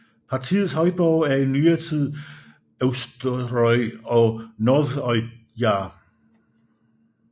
Partiets højborge er i nyere tid Eysturoy og Norðoyar